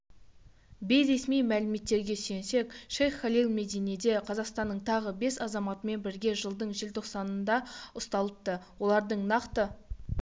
бейресми мәліметтерге сүйенсек шейх халил мединеде қазақстанның тағы бес азаматымен бірге жылдың желтоқсанында ұсталыпты олардың нақты